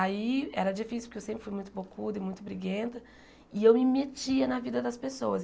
Aí era difícil, porque eu sempre fui muito bocuda e muito briguenta, e eu me metia na vida das pessoas.